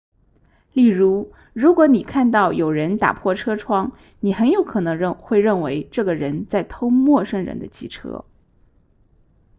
例如如果你看到有人打破车窗你很有可能会认为这个人在偷陌生人的汽车